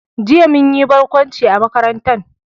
Jiya mun yi barkwanci a makaranta